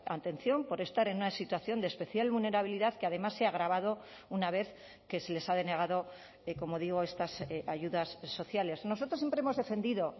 atención por estar en una situación de especial vulnerabilidad que además se ha agravado una vez que se les ha denegado como digo estas ayudas sociales nosotros siempre hemos defendido